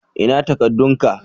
Ina takadun ka?